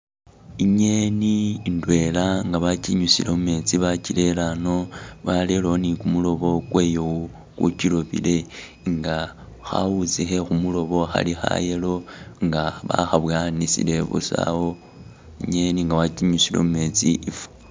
I'ngeni indwela nga bakinyusile mumetsi bakirere a'ano barerewo ni kumuloobo kwayo ku'kiloobele nga khawuutsi khekhu'muloobo khali kha'yellow nga bakha'bowanisile busaawo, i'ngeni nga wakinyusile mumetsi ifwa.